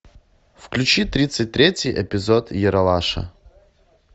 включи тридцать третий эпизод ералаша